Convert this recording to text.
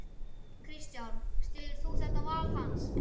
Kristján: Styður þú þetta val hans?